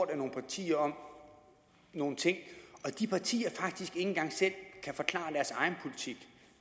af nogle partier om nogle ting og de partier faktisk ikke engang selv kan forklare deres egen politik